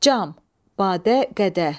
Cam, badə, qədəh.